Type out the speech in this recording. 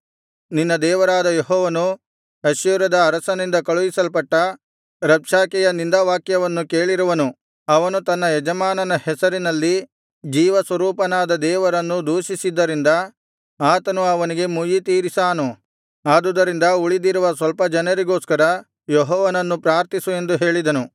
ನಿನ್ನ ದೇವರಾದ ಯೆಹೋವನು ಅಶ್ಶೂರದ ಅರಸನಿಂದ ಕಳುಹಿಸಲ್ಪಟ್ಟ ರಬ್ಷಾಕೆಯ ನಿಂದಾವಾಕ್ಯಗಳನ್ನು ಕೇಳಿರುವನು ಅವನು ತನ್ನ ಯಜಮಾನನ ಹೆಸರಿನಲ್ಲಿ ಜೀವಸ್ವರೂಪನಾದ ದೇವರನ್ನು ದೂಷಿಸಿದ್ದರಿಂದ ಆತನು ಅವನಿಗೆ ಮುಯ್ಯಿತೀರಿಸಾನು ಆದುದರಿಂದ ಉಳಿದಿರುವ ಸ್ವಲ್ಪ ಜನರಿಗೋಸ್ಕರ ಯೆಹೋವನನ್ನು ಪ್ರಾರ್ಥಿಸು ಎಂದು ಹೇಳಿದರು